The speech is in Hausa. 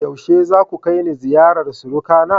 Yaushe zaku kai ni ziyarar surukana?